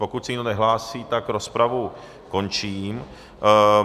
Pokud se nikdo nehlásí, tak rozpravu končím.